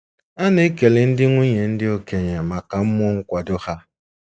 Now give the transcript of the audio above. A na-ekele ndị nwunye ndị okenye maka mmụọ nkwado ha.